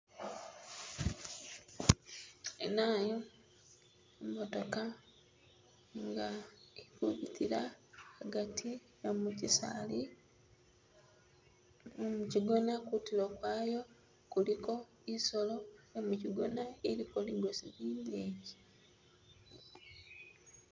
Inayu, i'motoka nga ili kubitila agati e mukisali, e mukigona kutulo kwaayo kuliko i'solo ye mukigona iliko ligosi lileyi.